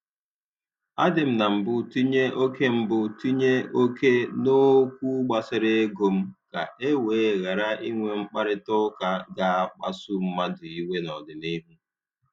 A dị m na mbụ tinye oke mbụ tinye oke n'okwu gbasara ego m, ka e wee ghara inwe mkparịtaụka ga- akpasu mmadụ iwe n'ọdịnihu.